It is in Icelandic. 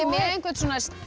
með einhvern